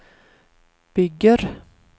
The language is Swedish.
bygger